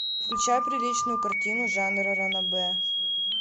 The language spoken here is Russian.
включай приличную картину жанра ранобэ